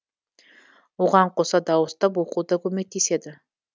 оған қоса дауыстап оқу да көмектеседі